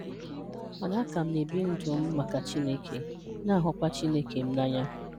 Mana a ka m na-ebi ndụ m maka Chineke na-ahụkwa Chineke m n'anya